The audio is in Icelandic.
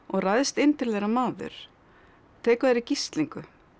ræðst inn til þeirra maður tekur þær í gíslingu